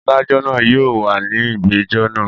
Adájọ́ náà yóò wà ní ìgbẹ́jọ́ náà.